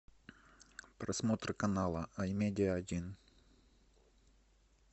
просмотр канала ай медиа один